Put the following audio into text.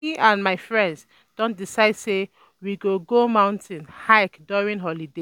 me um and my friends don decide say we um go go mountain hike during holiday.